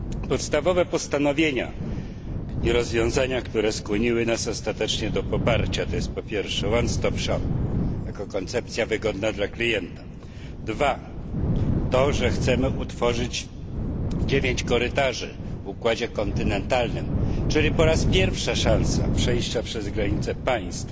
Podstawowe postanowienia i rozwiązania, które skłoniły nas ostatecznie do poparcia, to jest po pierwsze punkt kompleksowej obsługi jako koncepcja wygodna dla klienta. Po drugie, to że chcemy utworzyć 9 korytarzy w układzie kontynentalnym, czyli po raz pierwszy szansa przejścia przez granice państw,